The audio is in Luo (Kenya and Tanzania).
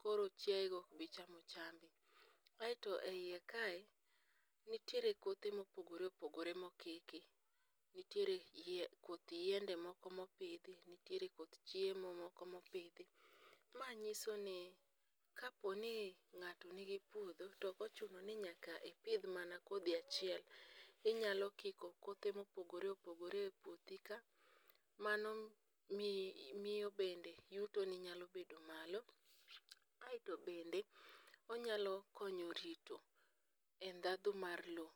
koro chiayego ok bichamo chambi. Aeto e iye kae, nitie kothe mopogore opogore ma opidhi, nitiere koth yiende moko mopidhi, nitiere koth chiemo moko mopidhi, manyiso ni kaponi ng'ato nigi puodho, ok ochuno ni nyaka ipidh mana kodhi achiel, inyalo pidho kothe mopogore opogore e puothika, mano miyo bende yutoni nyalo bedo malo, aeto bende onyalo konyo rito ndhadhu mar lowo.